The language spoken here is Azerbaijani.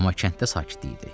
Amma kənddə sakit idi.